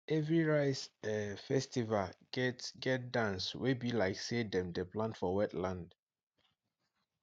every rice um festival get get dance wey be like say dem dey plant for wetland